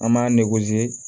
An b'an